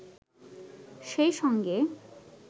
সেই সঙ্গে